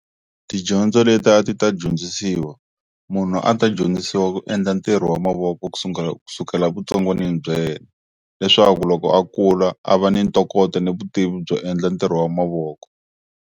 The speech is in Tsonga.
Tidyondzo leti a ti ta dyondzisiwa munhu a ta dyondzisiwa ku endla ntirho wa mavoko ku kusukela evutsongwanini bya yena leswaku loko a kula a va ni ntokoto ni vutivi byo endla ntirho wa mavoko.